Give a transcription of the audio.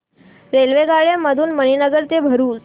रेल्वेगाड्यां मधून मणीनगर ते भरुच